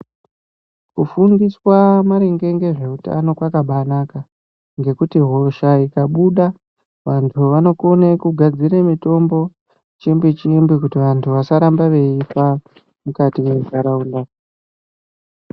Ku fundiswa maringe ngezve utano kwakabai naka ngekuti hosha ikabuda vantu vanokone kugadzire mitombo chimbi chimbi kuti vantu vasaramba veifa mukati mwe ndaraunda.